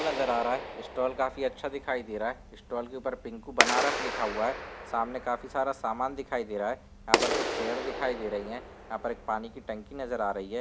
नजर आ रहा है स्टॉल काफी अच्छा दिखाई दे रहा है। स्टॉल के ऊपर पिंकू बनारस लिखा हुआ है सामने काफी सारा सामान दिखाई दे रहा है। यहाँं पर कुछ चेयर दिखाई दे रही हैं। यहाँं पर एक पानी की टंकी नजर आ रही है।